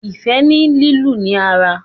ifẹ ni lílu ni ara.